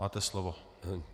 Máte slovo.